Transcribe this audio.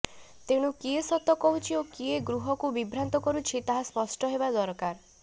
ତେଣୁ କିଏ ସତ କହୁଛି ଓ କିଏ ଗୃହକୁ ବିଭ୍ରାନ୍ତ କରୁଛି ତାହା ସ୍ପଷ୍ଟ ହେବା ଦରକାର